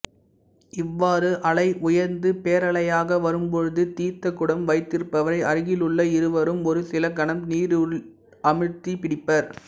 இவ்வாறு அலை உயர்ந்து பேரலையாக வரும்பொழுது தீர்த்தக்குடம் வைத்திருப்பவரை அருகிலுள்ள இருவரும் ஒரு சில கணம் நீருள் அமிழ்த்திப் பிடிப்பர்